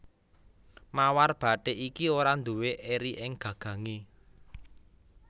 Mawar bathik iki ora nduwé eri ing gagangé